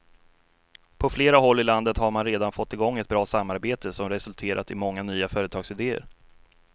På flera håll i landet har man redan fått i gång ett bra samarbete som resulterat i många nya företagsideer.